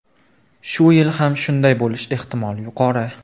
Shu yil ham shunday bo‘lishi ehtimoli yuqori.